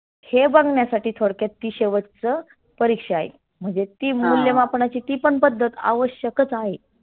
हे बघण्यासाठी थोडक्यात ती शेवटच परिक्षा आहे. म्हणजे ती मुल्यमापणाची ती पण पद्धत आवश्यकच आहे.